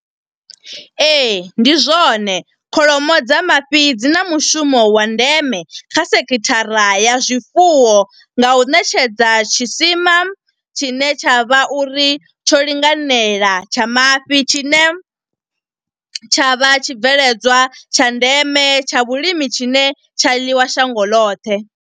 Ee, ndi zwone, kholomo dza mafhi dzi na mushumo wa ndeme kha sekhithara ya zwifuwo nga u ṋetshedza tshisima tshine tsha vha uri tsho linganela tsha mafhi. Tshine tsha vha tshibveledzwa tsha ndeme, tsha vhulimi tshine tsha ḽiwa shango ḽoṱhe.